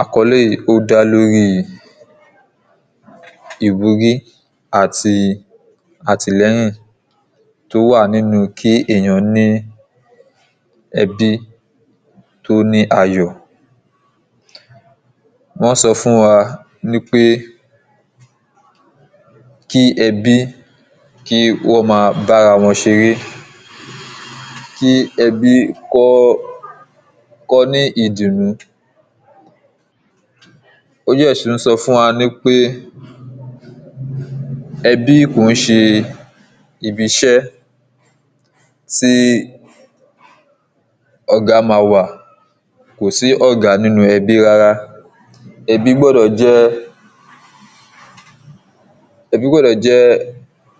àkọlé yìí dá lé lóri ìwúrí àti àtìlẹyìn tò wà nínu kí èèyàn ní ẹbí tó ní ayọ̀ wọ́n sọ fún wa nípé kí ẹbí kí ó máa bá ara wọn ṣeré kí ẹbí kó ní ìdùnnú ó dẹ̀ tún sọ fún wa nípé ẹbí kìí ṣe ibi iṣẹ́ tí ọ̀gá máa wà kò sí ọ̀gá ninu ẹbi rara, ẹbi gbọdọ jẹ